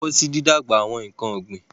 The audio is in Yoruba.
Wọ́n lọ́wọ́ sí dídàgbà àwọn nǹkan ọ̀gbìn.